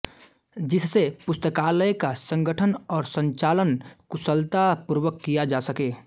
जिससे पुस्तकालय का संगठन और संचालन कुशलता पूर्वक किया जा सके